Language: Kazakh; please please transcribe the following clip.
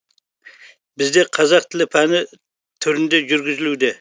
бізде қазақ тілі пәні түрінде жүргізілуде